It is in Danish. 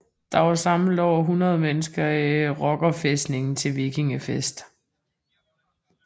Der var samlet over 100 mennesker i rockerfæstningen til vikingefest